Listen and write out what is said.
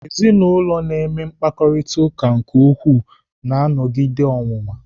Ezinụlọ na-eme mkparịtaụka ụka nke ukwuu na-anọgide ọnwụnwa.